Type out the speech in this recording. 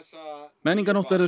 menningarnótt verður